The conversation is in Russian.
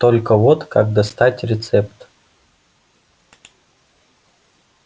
только вот как достать рецепт